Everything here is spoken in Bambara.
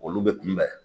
Olu bɛ kunbɛn